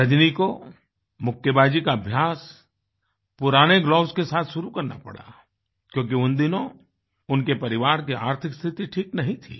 रजनी को मुक्केबाजी का अभ्यास पुराने ग्लोव्स के साथ शुरू करना पड़ा क्योंकि उन दिनों उनके परिवार की आर्थिक स्थिति ठीक नहीं थी